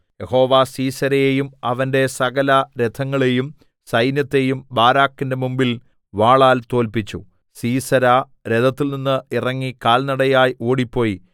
യഹോവ സീസെരയെയും അവന്റെ സകലരഥങ്ങളെയും സൈന്യത്തെയും ബാരാക്കിന്റെ മുമ്പിൽ വാളാൽ തോല്പിച്ചു സീസെരാ രഥത്തിൽനിന്നു ഇറങ്ങി കാൽനടയായി ഓടിപ്പോയി